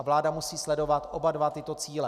A vláda musí sledovat oba dva tyto cíle.